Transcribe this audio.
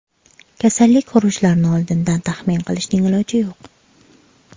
Kasallik xurujlarini oldindan taxmin qilishning iloji yo‘q.